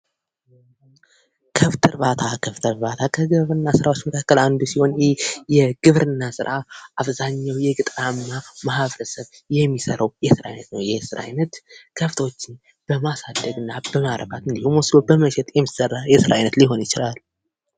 ከብት እርባታ፥ ከብት እርባታ ከግብርና ስራዎች መካከል አንዱ ሲሆን ይኽ የግብርና ስራ አብዛኛው የገጠራማ ማህበረሰብ የሚሰራው የስራ አይነት ነው። ይህ የስራ አይነት ከብቶች በማሳደግ እና በማርባት ወይም ደግሞ በመሸጥ የሚሰራ የስራ አይነት ሊሆን ይችላል።